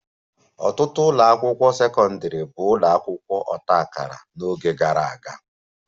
Ọtụtụ ụlọ akwụkwọ sekọndrị bụ ụlọ akwụkwọ ọta akara n'oge gara aga